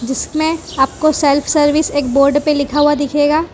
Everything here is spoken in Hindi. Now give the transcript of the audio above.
जिसमें आपको सेल्फ सर्विस एक बोर्ड पे लिखा हुआ दिखेगा।